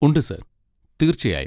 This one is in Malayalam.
ഉണ്ട്, സർ, തീർച്ചയായും.